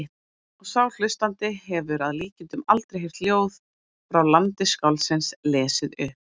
Og sá hlustandi hefur að líkindum aldrei heyrt ljóð frá landi skáldsins lesið upp.